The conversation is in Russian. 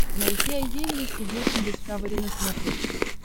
найти айди инвестигейшн дискавери на смотрешке